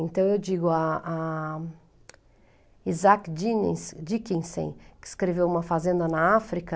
Então, eu digo, a a Isaac Dicki Dickinson, que escreveu Uma Fazenda na África,